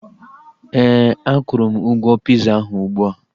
Éè, a kwuru m ụgwọ piza ahu ụgbụa